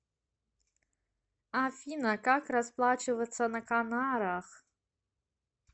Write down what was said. афина как расплачиваться на канарах